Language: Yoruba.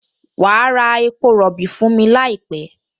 Wà á ra epo rọ̀bì fún mi láìpẹ́!